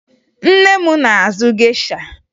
Nne m na-azụ gesha